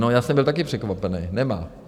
No, já jsem byl taky překvapený, nemá.